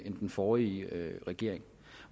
end den forrige regering